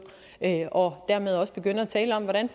og dermed også begynde at tale om hvordan